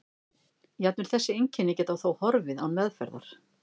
jafnvel þessi einkenni geta þó horfið án meðferðar